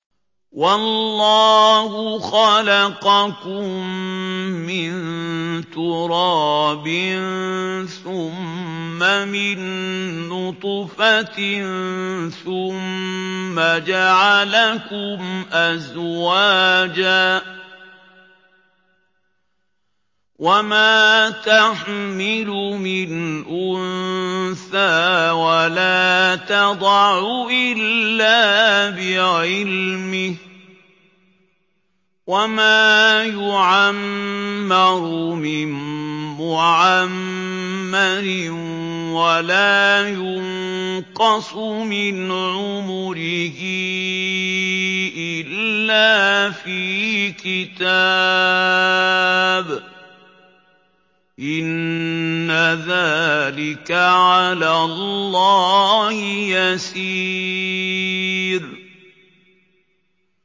وَاللَّهُ خَلَقَكُم مِّن تُرَابٍ ثُمَّ مِن نُّطْفَةٍ ثُمَّ جَعَلَكُمْ أَزْوَاجًا ۚ وَمَا تَحْمِلُ مِنْ أُنثَىٰ وَلَا تَضَعُ إِلَّا بِعِلْمِهِ ۚ وَمَا يُعَمَّرُ مِن مُّعَمَّرٍ وَلَا يُنقَصُ مِنْ عُمُرِهِ إِلَّا فِي كِتَابٍ ۚ إِنَّ ذَٰلِكَ عَلَى اللَّهِ يَسِيرٌ